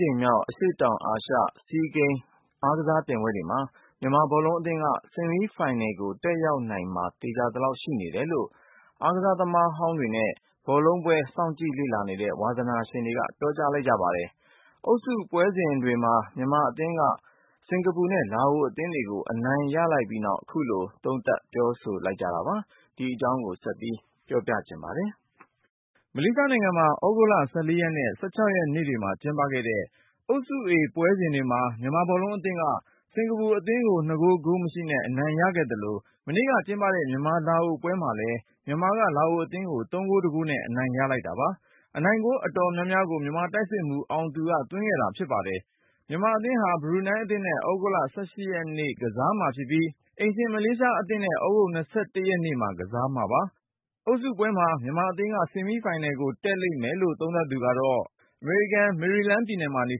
ကြိမ်မြောက် အရှေ့တောင်အာရှ SEA Game အားကစားပြိုင်ပွဲတွေမှာ မြန်မာဘောလုံးအသင်းက ဆီးမီးဖိုင်နယ်ကို တက်ရောက်နိုင်မှာ သေချာသလောက် ရှိနေတယ်လို့ အားကစားသမားဟောင်းတွေနဲ့ ဘောလုံးပွဲ စောင့်ကြည့်နေတဲ့ ဝါသနာရှင်တွေက ပြောကြား လိုက်ပါတယ်။ အုပ်စုပွဲစဉ်မှာ မြန်မာအသင်းက စင်္ကာပူနဲ့ လာအိုအသင်းတွေကို အနိုင်ရလိုက်ပြီးနောက် ခုလို သုံးသပ်လိုက်ကြတာပါ။ ဆက်သွယ်မေးမြန်း ထားတဲ့ ကိုဉာဏ်ဝင်းအောင်က တင်ပြပါမယ်။ မလေးရှားနိုင်ငံမှာ သြဂုတ်လ ရက်နဲ့ ရက်နေ့တွေမှာ ကျင်းပခဲ့တဲ့ အုပ်စု A ပွဲစဉ်တွေမှာ မြန်မာဘောလုံးအသင်းက စင်္ကာပူအသင်း ကို ၂ဂိုး-ဂိုးမရှိနဲ့ အနိုင်ရခဲ့သလို၊ မနေ့ကကျင်းပတဲ့ မြန်မာ-လာအိုပွဲမှာလည်း မြန်မာက လာအိုအသင်းကို ၃-၁ နဲ့ အနိုင်ရလိုက်ပါတယ်။ အနိုင်ဂိုး အတော်များများကို မြန်မာတိုက်စစ်မှူး အောင်သူက သွင်းခဲ့တာဖြစ်ပါတယ်။ မြန်မာအသင်းဟာ ဘရူနိုင်းအသင်းနဲ့ သြဂုတ်လ ရက်နေ့ ကစားကြမှာဖြစ်ပြီး၊ အိမ်ရှင် မလေးရှားအသင်းနဲ့ ရက်နေ့မှာ ကစားကြ မှာပါ။ အုပ်စုပွဲမှာ မြန်မာအသင်း ဆီမီးဖိုင်နယ်ကို တက်လိမ့်မယ်လို့ သုံးသပ်သူက အမေရိကန် မေရီလန်းပြည်နယ်မှာ နေ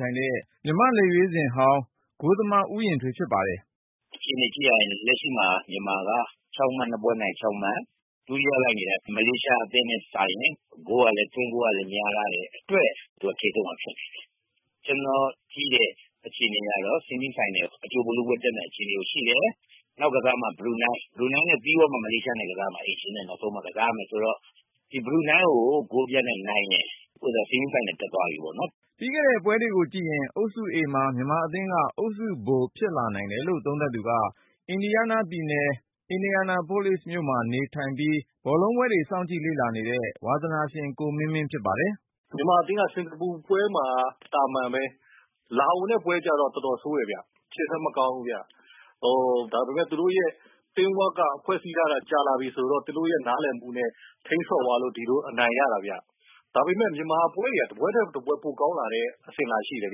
ထိုင်တဲ့ မြန်မာ့ လက်ရွေးစင်ဟောင်း ဂိုးသမား ဦးရင်ထွေးဖြစ်ပါတယ်။ “ အခြေအနေ ကြည့်ရရင် လက်ရှိမှာ မြန်မာက ၂ ပွဲနိုင် ၆ မှတ်။ ဒုတိယ လိုက်နေတာ မလေးရှား အသင်းနဲ့စာရင် သွင်းဂိုးကလည်း များထားတဲ့ အတွက် သူကထိပ်ဆုံးမှာ ဖြစ်နေတယ်။ ကျနော်ကြည့်တဲ့ အခြေအနေ အရတော့ ဆီမီး ဖိုင်နယ်၊ အကြိုဗိုလ်လုပွဲ တက်မယ့် အခြေအနေမှာ ရှိနေတယ်။ နောက် ကစားမှာ ဘရူနိုင်း။ ဘရူနိုင်းနဲ့ ပြီးတဲ့ အခါမှာကြတော့ မလေးရှားနဲ့ ကစားမှာ။ အိမ်ရှင်နဲ့ နောက်ဆုံးမှ ကစားမှာ ဆိုတော့ ဒီဘရူနိုင်းကို ဂိုးပြတ်နဲ့ နိုင်ရင် ဆီမီးဖိုင်နယ် တက်သွားပြီပေါ့နော်။ ” ပြီးခဲ့တဲ့ ပွဲတွေကို ကြည့်ရင် အုပ်စု A မှာ မြန်မာအသင်းက အုပ်စုဗိုလ် ဖြစ်လာနိုင်တယ်လို့ သုံးသပ်သူက အင်ဒီယားနားပြည်နယ် Indianapolis မြို့မှာ နေထိုင်ပြီး ဘောလုံးပွဲတွေ စောင့်ကြည့်လေ့လာတဲ့ ဝါသနာရှင် ကိုမင်းမင်းဖြစ်ပါတယ်။ “ မြန်မာအသင်းက စင်္ကာပူပွဲမှာ သာမန်ပဲ။ လာအိုနဲ့ ပွဲကြတော့ တော်တော်ဆိုးတယ်ဗျ။ ရှေ့တန်း မကောင်းဘူးဗျ။ ဒါပေမယ့် သူတို့ Team Work က ဖွဲ့စည်းထားတာ ကြာလာပြီဆိုတော့ သူတို့ရဲ့ နားလည်မှုနဲ့ ထိန်းဆော့သွားလို့ ဒီလို အနိုင်ရတာဗျ။ ဒါပေမယ့် မြန်မာပွဲတွေက တပွဲထက်တပွဲ ပိုကောင်းလာတဲ့ အစဉ်လာရှိတယ်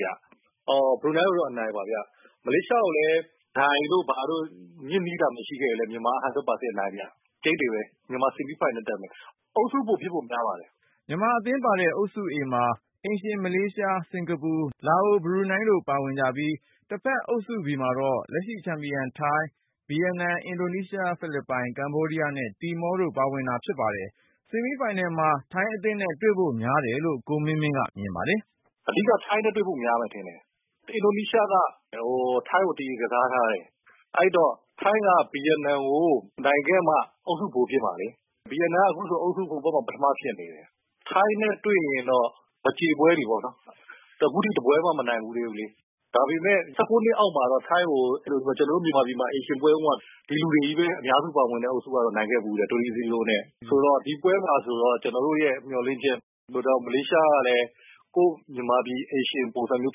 ဗျ။ အော် ဘရူနိုင်းကိုတော့ အနိုင်ပါဗျ။ မလေးရှား ကိုလည်း ဒိုင်တို့ဘာတို့ ညစ်နည်းသာ မရှိခဲ့ရင် မြန်မာက ၁၀၀ ရာခိုင်နှုန်း အနိုင်ဗျ။ ကျိန်းသေပဲ။ မြန်မာ ဆီမီးဖိုင်နယ် တက်မယ်။ အုပ်စုဗိုလ် ဖြစ်ဖို့ များပါတယ်။ ” မြန်မာအသင်းပါတဲ့ အုပ်စု A မှာ အိမ်ရှင်မလေးရှား၊ စင်ကာပူ၊ လာအို၊ ဘရူနိုင်းတို့ ပါဝင်ကြပြီး တဘက်အုပ်စု B မှာတော့ လက်ရှိချန်ပီယံ ထိုင်း၊ ဗီယက်နမ်၊ အင်ဒိုနီးရှား၊ ဖိလစ်ပိုင်၊ ကမ္ဘောဒီးယား နဲ့ တီမောတို့ ပါဝင်တာဖြစ်ပါတယ်။ ဆီမီးဖိုင်နယ်မှာ ထိုင်းအသင်းနဲ့ တွေ့ဖို့များတယ် လို့ ကိုမင်းမင်းက မြင်ပါတယ်။ “ အဓိက ထိုင်းနဲ့တွေ့ဖို့ များမယ်ထင်တယ်။ အင်ဒိုနီးရှားက ထိုင်းကို သရေ ကစားထားတယ်။ ထိုင်းက ဗီယက်နမ်ကို နိုင်ခဲ့မှ အုပ်စုဗိုလ် ဖြစ်မှာလေ။ ဗီယက်နမ်က အုပ်စု B ဘက်မှာ ပထမဖြစ်နေတယ်။ ထိုင်းနဲ့တွေ့ရင်တော့ မကြေပွဲတွေပေါ့နော်။ သူက ခုထိတပွဲမှ မနိုင်ဘူးသေးဘူးလေ။ ဒါပေမဲ့ ၁၉ နှစ်အောက်မှာတော့ ထိုင်းကို ကျနော်တို့ မြန်မာပြည်မှာ အိမ်ရှင်ပွဲတုန်းက ဒီလူတွေပဲ အများစုပါတဲ့ အုပ်စုတုန်းက အနိုင်ရခဲ့ဘူးတယ်။ ၃း၀ နဲ့ ဆိုတော့ ဒီပွဲမှာဆိုတော့ ကျနော်တို့ရဲ့ မျှော်လင့်ချက်၊ မလေးရှားကလည်း ကိုယ့်မြန်မာပြည် အိမ်ရှင်ပုံစံမျိုး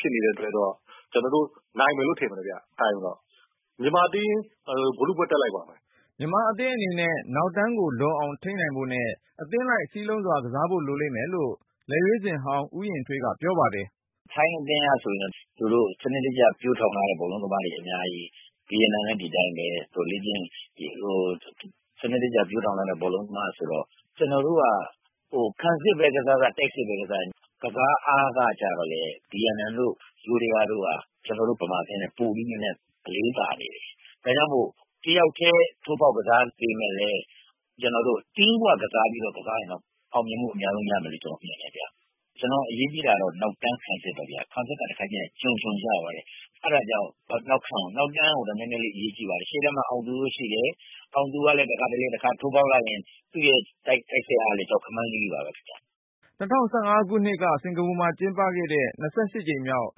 ဖြစ်နေတယ်။ ဆိုတော့ ကျနော်တို့ နိုင်မယ်လို့ ထင်တယ်ဗျ ထိုင်းကိုတော။့ မြန်မာအသင်း ဗိုလ်လုပွဲ တက်နိုင်ပါမယ်။ မြန်မာအသင်းအနေနဲ့ နောက်တန်းကို လုံအောင်ထိန်းနိုင်ဖို့နဲ့ အသင်းလိုက် စည်းလုံးစွာ ကစားဖို့လိုမယ်လို့ လက်ရွေးစင်ဟောင်း ဦးရင်ထွေးက ပြောပါတယ်။ “ ထိုင်းအသင်းကဆိုရင် သူတို့ စနစ်တကျ ပျိုးထောင်ထားတဲ့ ဘောလုံးသမားတွေ အများကြီး။ ဗီယက်နမ်လည်း ဒီအတိုင်းပဲ။ သူတို့ စနစ်တကျ ပျိုးထောင်ထားတဲ့ ဘောလုံးသမားဆိုတော့ ကျနော်တို့က ခံစစ်ပဲ ကစားကစား၊ တိုက်စစ်ပဲ ကစားကစား ကစားအားကြတော့လည်း ဗီယက်နမ်တို့ ယိုးဒယားတို့က ပိုပြီးနည်းနည်း အလေးသာ နေတယ်။ ဒါကြောင့်မို့ တယောက်ထဲ ထိုးဖေါက်ကစား ပေမဲ့လည်း ကျနော်တို့ TEAM WORK ကစား ပြီးတော့ ကစားရင်တော့ အောင်မြင်မှု အများဆုံးရလိမ့်မယ်လို့ ကျနော်မြင်တယ်ဗျ။ ကျနော်တို့ အရေးကြီးတာက နောက်တန်း ခံစစ်ပဲဗျ။ ခံစစ် တခါတခါကြရင် ကျွံကျွံကျသွားတယ်။ အဲဒါကြောင့် နောက်တန်းကို နည်းနည်းလေး အရေးကြီးပါတယ်။ ရှေ့တန်း မှာ အောင်သူ တို့ရှိတယ်။ အောင်သူကလည်း တခါတလေ ထိုးဖေါက်လိုက်ရင် သူ့ရဲ့ တိုက်စစ်အား ကလည်း ကြောက်ခမန်းလိလိ ပါပဲ။ ” ၂၀၁၅ ခုနှစ်က စင်ကာပူမှာ ကျင်းပတဲ့ ၂၈ ကြိမ်မြောက်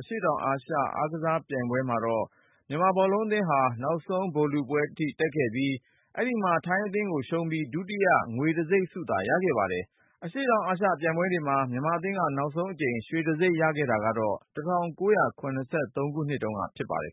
အရှေ့တောင်အာရှအားကစားပြိုင်ပွဲ မှာတော့ မြန်မာအသင်းဟာ နောက်ဆုံးဗိုလ်လုပွဲ အထိ တက်ခဲ့ပြီး၊ အဲဒီမှာ ထိုင်းအသင်းကို ရှုံးပြီး ဒုတိယငွေတံဆိပ်ရခဲ့တာဖြစ်ပါတယ်။ အရှေ့တောင် အာရှပြိုင်ပွဲမှာ မြန်မာအသင်းက နောက်ဆုံးအကြိမ် ရွှေတံဆိပ်ရခဲ့တာကတော့ ၁၉၇၃ ခုနှစ်တုန်းကဖြစ်ပါတယ်